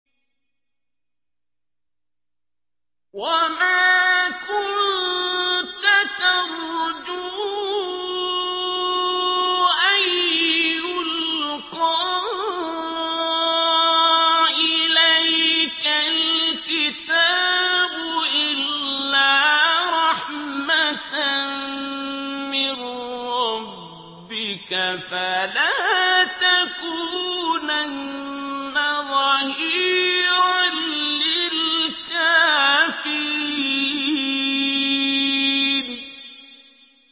وَمَا كُنتَ تَرْجُو أَن يُلْقَىٰ إِلَيْكَ الْكِتَابُ إِلَّا رَحْمَةً مِّن رَّبِّكَ ۖ فَلَا تَكُونَنَّ ظَهِيرًا لِّلْكَافِرِينَ